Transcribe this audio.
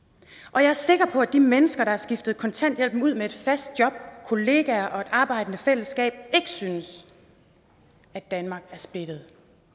og jeg er sikker på at de mennesker der har skiftet kontanthjælpen ud med et fast job kollegaer og et arbejdende fællesskab ikke synes at danmark er splittet